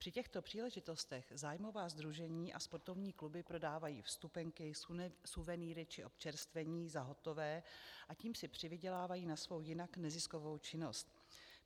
Při těchto příležitostech zájmová sdružení a sportovní kluby prodávají vstupenky, suvenýry či občerstvení za hotové a tím si přivydělávají na svou jinak neziskovou činnost.